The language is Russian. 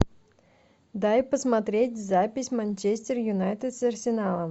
дай посмотреть запись манчестер юнайтед с арсеналом